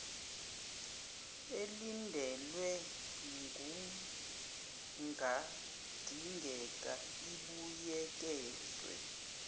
elindelwe kungadingeka ibuyekezwe